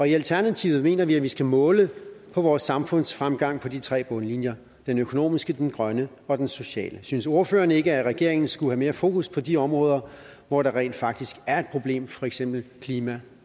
i alternativet mener vi vi skal måle vores samfundsfremgang på de tre bundlinjer den økonomiske den grønne og den sociale synes ordføreren ikke at regeringen skulle have mere fokus på de områder hvor der rent faktisk er et problem for eksempel klima